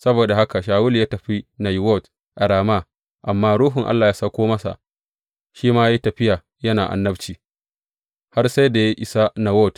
Saboda haka Shawulu ya tafi Nayiwot a Rama, amma Ruhun Allah ya sauko masa, shi ma ya yi tafiya yana annabci har sai da ya isa Nayiwot.